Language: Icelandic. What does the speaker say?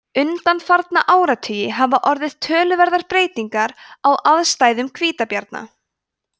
undanfarna áratugi hafa orðið töluverðar breytingar á aðstæðum hvítabjarna